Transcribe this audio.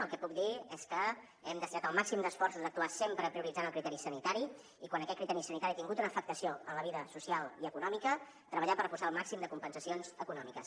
el que puc dir és que hem destinat el màxim d’esforços a actuar sempre prioritzant el criteri sanitari i quan aquest criteri sanitari ha tingut una afectació en la vida social i econòmica treballar per posar el màxim de compensacions econòmiques